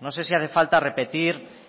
no sé si hace falta repetir